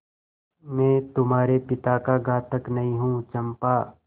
मैं तुम्हारे पिता का घातक नहीं हूँ चंपा